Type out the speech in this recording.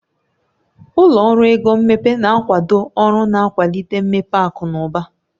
Ụlọ ọrụ ego mmepe na-akwado ọrụ na-akwalite mmepe akụ na ụba.